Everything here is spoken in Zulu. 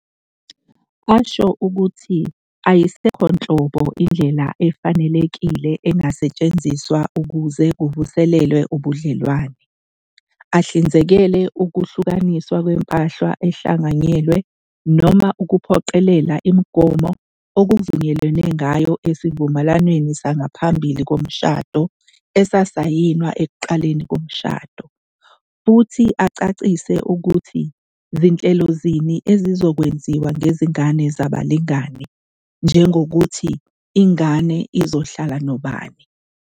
.asho ukuthi ayisekho nhlobo indlela efanelekile engasetshenziswa ukuze kuvuselelwe ubudlelwane, ahlinzekele ukwahlukaniswa kwempahla ehlanganyelwe noma ukuphoqelela imigomo okuvunyelwene ngayo esivumelwaneni sangaphambi komshado esisayinwa ekuqaleni komshado, futhi acacise ukuthi zinhlelo zini ezizokwenziwa ngezingane zabalingani, njengokuthi ingane izohlala nobani."